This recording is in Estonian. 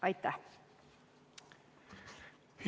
Aitäh!